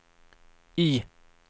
Y